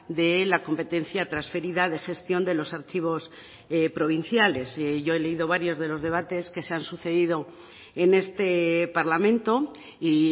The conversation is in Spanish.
de la competencia transferida de gestión de los archivos provinciales yo he leído varios de los debates que se han sucedido en este parlamento y